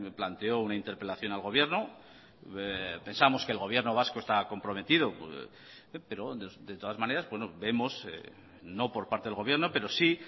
planteó una interpelación al gobierno pensamos que el gobierno vasco está comprometido pero de todas maneras vemos no por parte del gobierno pero sí